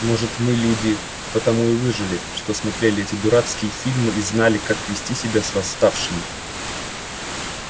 может мы люди потому и выжили что смотрели эти дурацкие фильмы и знали как вести себя с восставшими